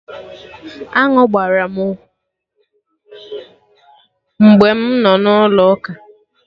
Aṅụ gbara m mgbe mụ nọ na Ụlọ ụka